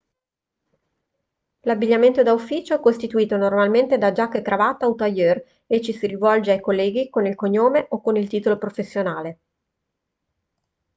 l'abbigliamento da ufficio è costituito normalmente da giacca e cravatta o tailleur e ci si rivolge ai colleghi con il cognome o con il titolo professionale